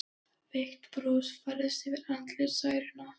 Veikt bros færðist yfir andlit Særúnar.